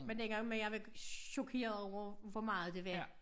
Men dengang men jeg var chokeret over hvor meget det var